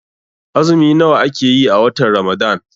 Azumi nawa ake yi a watan Ramadan?